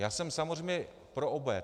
Já jsem samozřejmě pro obé.